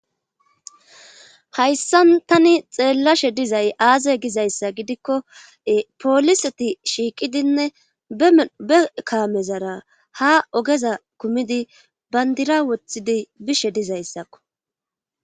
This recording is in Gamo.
hayssan tani xeellashe dizay aaze gizayssa gidikko pooliseti shiiqidinne e kaamezara ha ogeza kumidi bandira wothidi bishe dizayssakko